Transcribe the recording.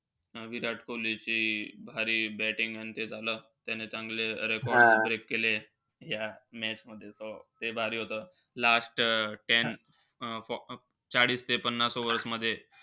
विराट कोहलीची भारी batting अन ते झालं. त्याने चांगले record break केले. त्या match मध्ये त ते भारी होतं. Last ten अं चाळीस ते पन्नास over मध्ये.